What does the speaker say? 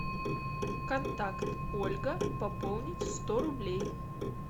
контакт ольга пополнить сто рублей